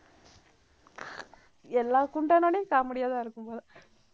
எல்லா comedy யாதான் இருக்கும் போல